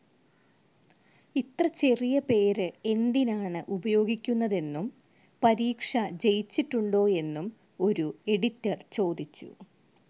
ഇത്ര ചെറിയ പേര് എന്തിനാണ് ഉപയോഗിക്കുന്നതെന്നും, പരീക്ഷ ജയിച്ചിട്ടുണ്ടോയെന്നും ഒരു എഡിറ്റർ ചോദിച്ചു.